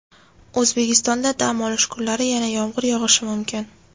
O‘zbekistonda dam olish kunlari yana yomg‘ir yog‘ishi mumkin.